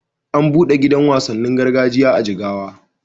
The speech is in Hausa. An buɗe gidan wasannin gargajiya a Jigawa.